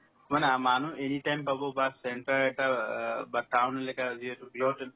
মানে আ মানুহ anytime পাব বা centre এটাৰ অ বা town related যিহেতু